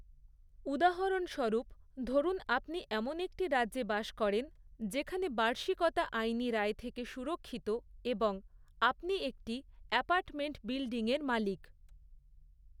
উদাহরণস্বরূপ, ধরুন আপনি এমন একটি রাজ্যে বাস করেন, যেখানে বার্ষিকতা আইনী রায় থেকে সুরক্ষিত এবং আপনি একটি অ্যাপার্টমেন্ট বিল্ডিংয়ের মালিক৷